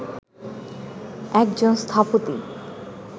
একজন স্থপতি